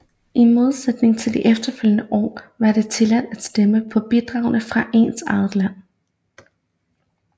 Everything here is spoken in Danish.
I modsætning til de efterfølgende år var det tilladt at stemme på bidragene fra ens eget land